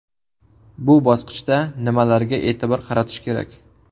Bu bosqichda nimalarga e’tibor qaratish kerak?